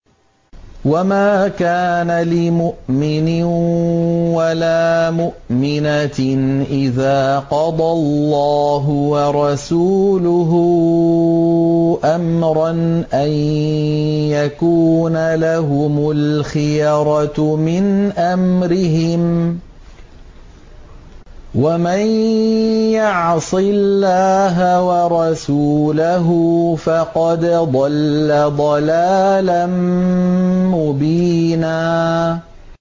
وَمَا كَانَ لِمُؤْمِنٍ وَلَا مُؤْمِنَةٍ إِذَا قَضَى اللَّهُ وَرَسُولُهُ أَمْرًا أَن يَكُونَ لَهُمُ الْخِيَرَةُ مِنْ أَمْرِهِمْ ۗ وَمَن يَعْصِ اللَّهَ وَرَسُولَهُ فَقَدْ ضَلَّ ضَلَالًا مُّبِينًا